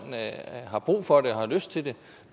har brug for det og lyst til det